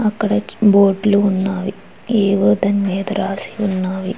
అక్కడ బోర్డులు ఉన్నవి. ఏవో దాని మీద రాసి ఉన్నవి.